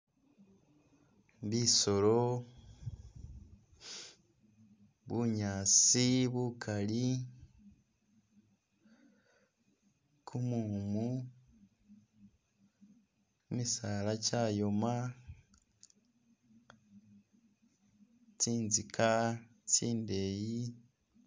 Bisoolo, bunyaasi bukali, kumumu, kimisaala kyayoma, tsinzika tsindeyi